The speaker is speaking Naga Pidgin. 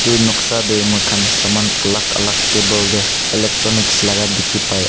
etu noksa teh ami khan samaan alag alag table teh electronics laga dekhi pai ase.